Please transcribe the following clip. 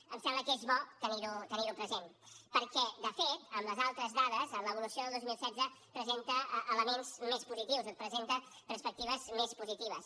em sembla que és bo tenir ho present perquè de fet amb les altres dades a l’evolució del dos mil setze presenta elements més positius presenta perspectives més positives